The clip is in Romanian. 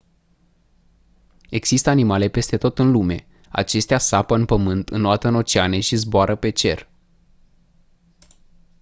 există animale peste tot în lume acestea sapă în pământ înoată în oceane și zboară pe cer